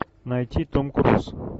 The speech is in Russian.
найти том круз